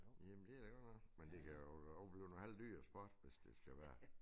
Jamen det da godt nok men det kan da også blive en halvdyr sport hvis det skal være